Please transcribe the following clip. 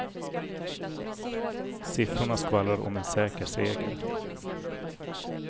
Siffrorna skvallrar om en säker seger.